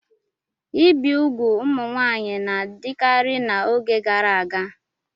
Ibi úgwù ụmụ nwaanyị na-adịkarị n'oge gara aga.